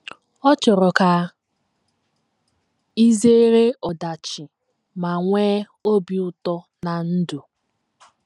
Ọ chọrọ ka i zere ọdachi ma nwee obi ụtọ ná ndụ.